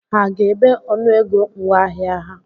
Ha ga-ebe ọnụego ngwaahịa ha?